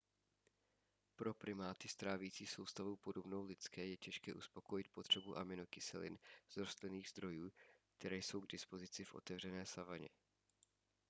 pro primáty s trávicí soustavou podobnou lidské je těžké uspokojit potřebu aminokyselin z rostlinných zdrojů které jsou k dispozici v otevřené savaně